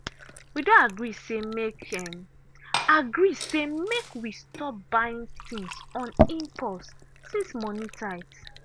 we don agree say make agree say make we stop buying things on impulse since money tight.